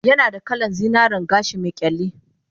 Yanada kalan zinaren gashi me kyalli